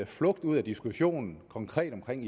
flugt ud af diskussionen konkret omkring